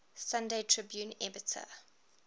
sunday tribune editor